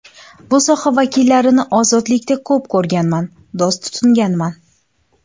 Bu soha vakillarini ozodlikda ko‘p ko‘rganman, do‘st tutinganman.